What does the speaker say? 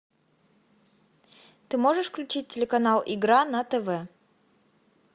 ты можешь включить телеканал игра на тв